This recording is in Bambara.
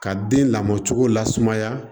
Ka den lamɔcogo lasumaya